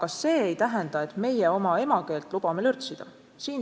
Aga see ei tähenda, et meie oma emakeelt lubame lörtsida.